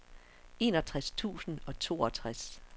enogtres tusind og toogtres